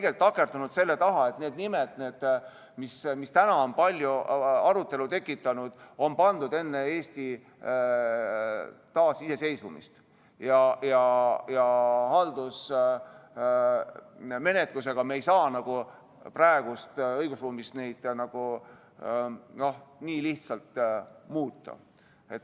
Me oleme takerdunud selle taha, et need nimed, mis on palju arutelu tekitanud, on pandud enne Eesti taasiseseisvumist ja haldusmenetlusega ei saa me praeguses õigusruumis neid nii lihtsalt muuta.